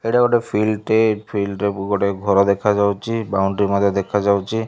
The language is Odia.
ଏଇଟା ଗୋଟେ ଫିଲ୍ଡ୍ ଟେ ଏଇ ଫିଲ୍ଡ ରେ ବୋ ଗୋଟେ ଘର ଦେଖାଯାଉଚି ବାଉଣ୍ଡ୍ରି ମଧ୍ୟ ଦେଖାଯାଉଚି।